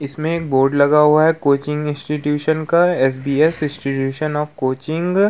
इसमें एक बोर्ड लगा हुआ है कोचिंग इंस्टीटूशन का S B S institution of coaching --